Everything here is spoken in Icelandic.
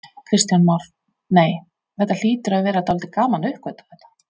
Kristján Már: Nei, þetta hlýtur að vera dálítið gaman að uppgötva þetta?